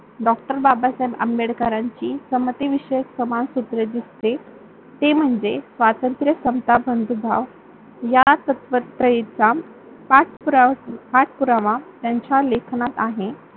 डॉ. बाबासाहेब आंबेडकरांची समते विषयी समाज सुत्री दिसते ते म्हणजे स्वातंत्र्य, समता, बंधुभाव या त्यंच्या लेखनात आहे.